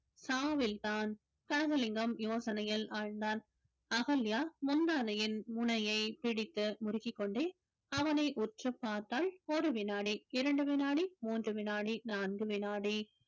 சாவில்தான் கனகலிங்கம் யோசனையில் ஆழ்ந்தான் அகல்யா முந்தானையின் முனையை பிடித்து முறுக்கிக்கொண்டே அவனை உற்றுப் பார்த்தாள் ஒரு வினாடி இரண்டு வினாடி மூன்று வினாடி நான்கு வினாடி